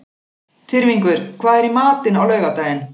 Tyrfingur, hvað er í matinn á laugardaginn?